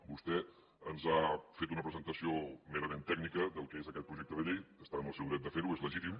vostè ens ha fet una presentació merament tècnica del que és aquest projecte de llei està en el seu dret de fer ho és legítim